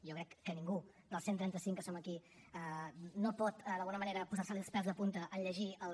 jo crec que a ningú dels cent i trenta cinc que som aquí no pot d’alguna manera posar se li els pèls de punta en llegir els